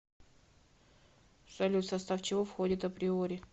салют в состав чего входит априори